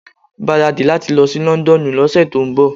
Gbaradi láti lọ sí Londonu ló ṣẹ tó ń bọ̀.